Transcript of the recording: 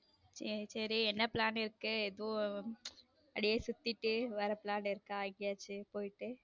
சேரி சேரி என்ன plan இருக்கு எதுவும் அப்படியே சுத்திட்டு வர plan இருக்கா எங்கேயாச்சும் போயிட்டு.